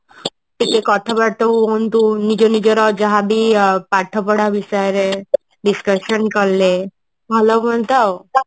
କିଛି କଥା ବାର୍ତା ହୁଅନ୍ତୁ ନିଜ ନିଜ ର ଯାହାବି ଅ ପାଠ ପଢା ବିଷୟରେ discussion କଲେ ଭଲ ହୁଆନ୍ତା ଆଉ